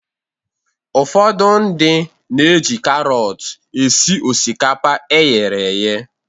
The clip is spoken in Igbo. Ụfọdụ ndị na-eji karọt esi osikapa eghere eghe.